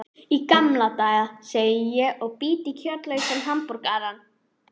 Í gamla daga, segi ég og bít í kjötlausan hamborgarann.